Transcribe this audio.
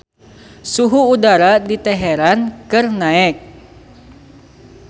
Suhu udara di Teheran keur naek